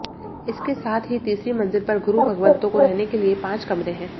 इसके साथ ही तीसरी मंजिल पर गुरु भगवंतों को रहने के लिए पांच कमरे हैं